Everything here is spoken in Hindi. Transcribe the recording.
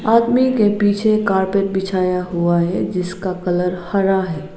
आदमी के पीछे कारपेट बिछाया हुआ है जिसका कलर हरा है।